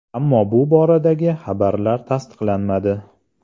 Ammo bu boradagi xabarlar tasdiqlanmadi.